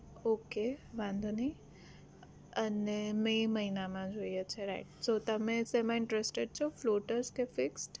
okay વાંધો નહિ અને મે મહિનામાં જોઈએ છે right so તમે શેમાં interested છો? floatas કે fix?